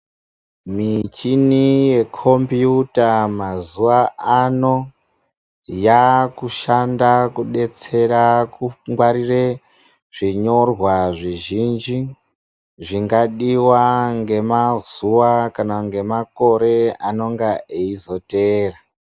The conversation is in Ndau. Michini yekombuyuta mazuwa ano yakushanda kudetsera kungwarire zvinyorwa zvizhinji zvingadiwa ngemazuwa kana ngemakore anonga eizoteera.